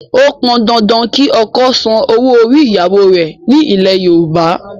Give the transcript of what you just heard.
Ó pọn dandan kí ọkọ san owó orí ìyàwó rẹ̀ nílẹ̀ Yorùbá